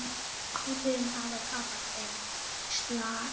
Hótelin hafi tapað þeim slag.